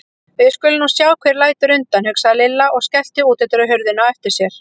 Við skulum nú sjá hver lætur undan, hugsaði Lilla og skellti útidyrahurðinni á eftir sér.